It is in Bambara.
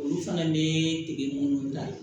Olu fana bɛ dege minnu na